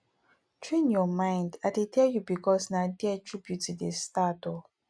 train your mind i dey tell you bicos na there true beauty dey start oo